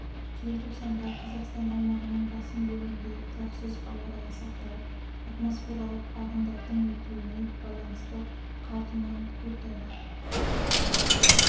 желтоқсанда қазақстан аумағының басым бөлігінде тұрақсыз ауа райы сақталып атмосфералық ағындардың өтуіне байланысты қар тұман көктайғақ